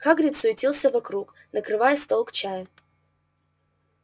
хагрид суетился вокруг накрывая стол к чаю